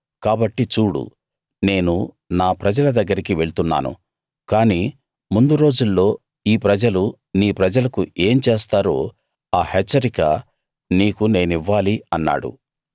కాబట్టి చూడు నేను నా ప్రజల దగ్గరికి వెళ్తున్నాను కాని ముందు రోజుల్లో ఈ ప్రజలు నీ ప్రజలకు ఏం చేస్తారో ఆ హెచ్చరిక నీకు నేనివ్వాలి అన్నాడు